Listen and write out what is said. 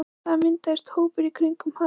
Það myndaðist hópur í kringum hann.